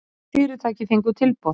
Öll fyrirtæki fengu tilboð